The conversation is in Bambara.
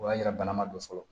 O y'a yira bana ma don fɔlɔ